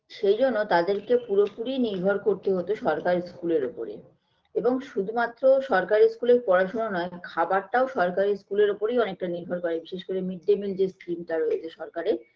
সেইজন্য তাদেরকে পুরোপুরি নির্ভর করতে হতো সরকারি school -এর উপরে এবং শুধুমাত্র সরকারি school -এর পড়াশোনা নয় খাবার টাও সরকারি school -এর উপরেই অনেকটা নির্ভর করে বিশেষ করে mid day meal যে scheme -টা রয়েছে সরকারের